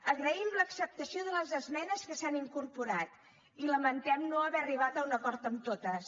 agraïm l’acceptació de les esmenes que s’han incorporat i lamentem no haver arribat a un acord en totes